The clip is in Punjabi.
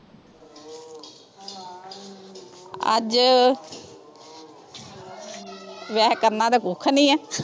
ਅੱਜ ਵੈਸੇ ਕਰਨਾ ਤਾਂ ਕੁੱਖ ਨਹੀਂ ਹੈ।